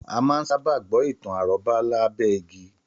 Àmà ń sà bà gbọ̀ itàn àròbà là gbẹ ìgí